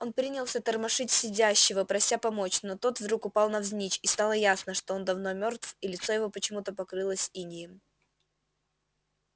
он принялся тормошить сидящего прося помочь но тот вдруг упал навзничь и стало ясно что он давно мёртв и лицо его почему-то покрылось инеем